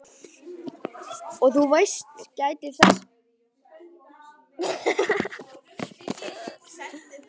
Og þú veist, gæti þetta verið ælupest?